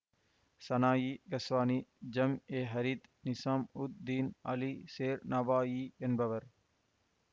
சனாயி Ghaznavi ஜாம்ஏஹீரத் Nizamuddin Ali Sher Navai என்பவர்